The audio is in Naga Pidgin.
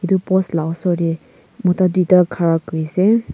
edu post la osor de mota duita khara kuri ase.